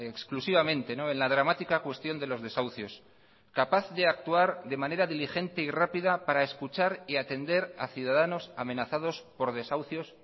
exclusivamente en la dramática cuestión de los desahucios capaz de actuar de manera diligente y rápida para escuchar y atender a ciudadanos amenazados por desahucios